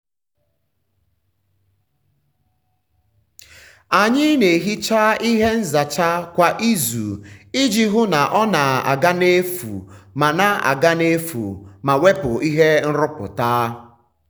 anyị na-ehicha ihe nzacha kwa izu iji hụ na ọ na-aga n'efu ma na-aga n'efu ma wepụ ihe nrụpụta.